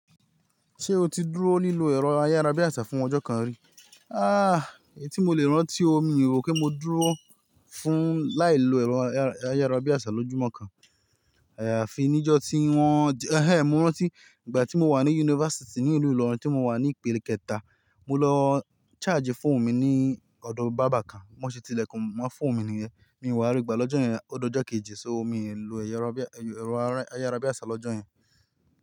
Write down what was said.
Ṣé o ti dúró lílo ẹ̀rọ ayárabíàṣá fún ọjọ́ kan rí? Ah! Èyí tí mo lè rántí o mi rò pé mo dúró fún láì lo ẹ̀rọ ayárabíàṣá lójúmọ́ kan. Fi níjọ́ tí wọ́n–ẹ̀ń ẹ́n mo rántí, ìgbà tí mo wà ní yunifásítì ní ìlú Ìlọrin tí mo wà ní Ìpele kẹta, mo lọ chargi fóònù mi ní ọ̀dọ̀ barber kan, bí wọ́n ṣe ti lẹ̀kùn mọ́ fóònù mi nìyẹn. Mi ò wá rí gbà lọ́jọ́ yẹn, ó d’ọjọ́ kejì so mi lu ẹ̀rọ ayárabíàṣá lọ́jọ́ yẹn.